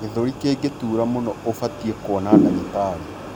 gĩthũri kingitura mũno ubatie kuona ndagĩtarĩ